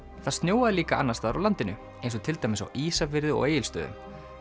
það snjóaði líka annars staðar á landinu eins og til dæmis á Ísafirði og Egilsstöðum